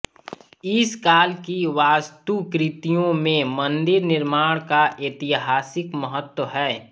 इस काल की वास्तुकृतियों में मंदिर निर्माण का ऐतिहासिक महत्त्व है